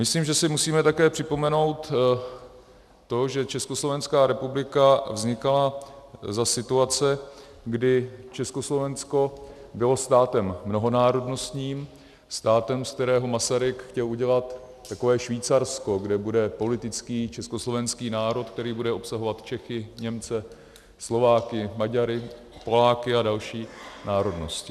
Myslím, že si musíme také připomenout to, že Československá republika vznikala za situace, kdy Československo bylo státem mnohonárodnostním, státem, z kterého Masaryk chtěl udělat takové Švýcarsko, kde bude politický československý národ, který bude obsahovat Čechy, Němce, Slováky, Maďary, Poláky a další národnosti.